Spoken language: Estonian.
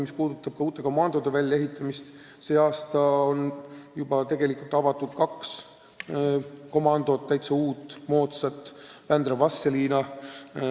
Mis puudutab uute komandohoonete väljaehitamist, siis tänavu on avatud kaks täiesti uut ja moodsat hoonet: Vändras, Vastseliinas.